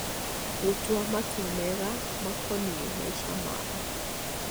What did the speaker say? gũtua matua mega makonie maica mao.